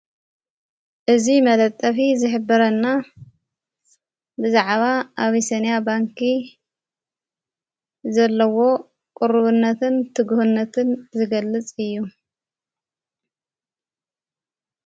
እዝ መለጠፊ ዝኅብረና ብዛዕባ ኣቢሰንያ ባንኪ ዘለዎ ቕሩብነትን ትግህነትን ዝገልጽ እዩ፡፡